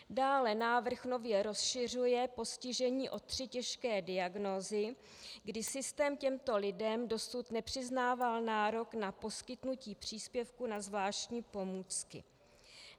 Dále návrh nově rozšiřuje postižení o tři těžké diagnózy, kdy systém těmto lidem dosud nepřiznával nárok na poskytnutí příspěvku na zvláštní pomůcky.